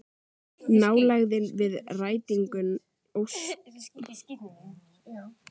Nálægðin við rætingu óskanna er honum óbærileg